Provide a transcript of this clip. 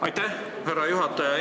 Aitäh, härra juhataja!